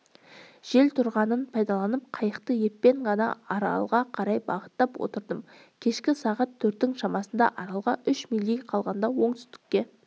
жел тұрғанын пайдаланып қайықты еппен ғана аралға қарай бағыттап отырдым кешкі сағат төрттің шамасында аралға үш мильдей қалғанда оңтүстікке